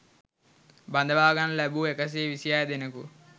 බඳවා ගනු ලැබූ එකසිය විසිහය දෙනෙකු